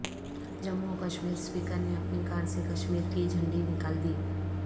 جموں و کشمیر اسپیکر نے اپنی کار سے کشمیر کی جھنڈی نکالدی